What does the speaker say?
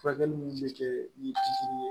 Furakɛli ninnu bɛ kɛ ni ye